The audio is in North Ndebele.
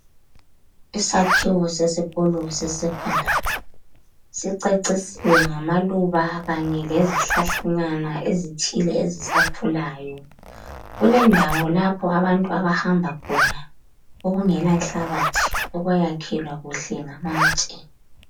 Isakhiwo sesikolo sesecondary sicecisiwe ngamaluba Kanye lezi hlahlanyana ezithile ezisakhulayo. Kulendawo lapho abantu abahamba khona okungela nhlabathi okwayakhelwa kuhle ngamatshe.